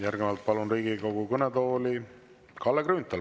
Järgnevalt palun Riigikogu kõnetooli Kalle Grünthali.